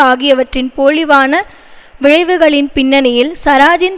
ஆகியவற்றின் போழிவான விளைவுகளின் பின்னணியில் சராஜின்